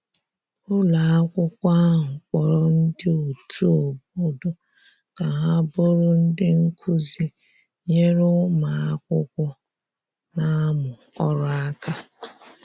ụlọ akwụkwo ahụ kporo ndi otu obodo ka ha bụrụ ndi nkụzi nyere ụmụ akwụkwo n'amu ọrụ aka